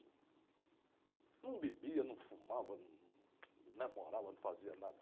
Não bebia, não fumava, num, num, não namorava, não fazia nada.